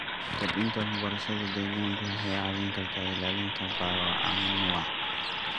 Kordhinta waxbarashada deegaanka waxay caawin kartaa ilaalinta bioanuwa.